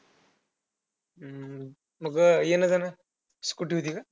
अं मग येणं-जाणं scooter होती का?